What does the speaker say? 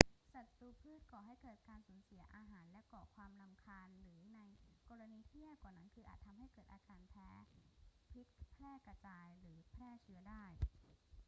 ศัตรูพืชก่อให้เกิดการสูญเสียอาหาร ก่อความรำคาญ หรือในกรณีที่แย่กว่านั้นคืออาจทำให้เกิดอาการแพ้ พิษแพร่กระจาย หรือแพร่เชื้อได้